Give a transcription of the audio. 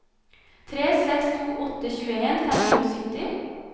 tre seks to åtte tjueen fem hundre og sytti